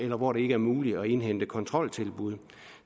hvor det ikke er muligt at indhente kontroltilbud